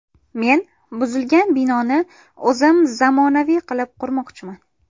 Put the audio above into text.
Men buzilgan binoni o‘zim zamonaviy qilib qurmoqchiman.